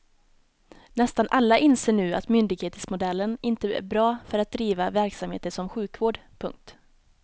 Nästan alla inser nu att myndighetsmodellen inte är bra för att driva verksamheter som sjukvård. punkt